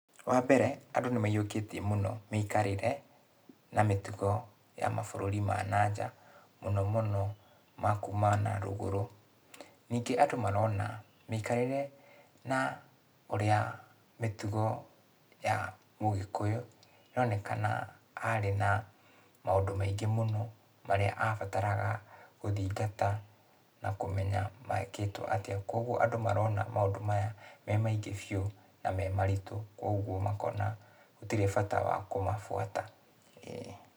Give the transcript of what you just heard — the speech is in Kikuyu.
Wambere, andũ nĩmayũkĩtie mũno, mĩikarĩre, na mĩtugo, ya mabũrũri ma na nja, mũno mũno ma kuma na rũgũrũ. Ningĩ andũ marona, mĩikarĩre na ũrĩa mĩtugo ya Ũgĩkũyũ, ĩronekana arĩ na maũndũ maingĩ mũno, marĩa abataraga gũthingata, na kũmenya mekĩtwo atĩa, kuoguo andũ marona maũndũ maya me maingĩ biũ na me maritũ, kuoguo makona gũtirĩ bata wa kũmabuata. Ĩĩ.